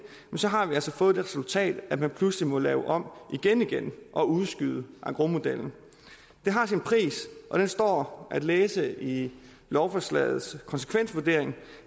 har vi altså fået det resultat at man pludselig må lave om igen igen og udskyde engrosmodellen det har sin pris og den står at læse i lovforslagets konsekvensvurdering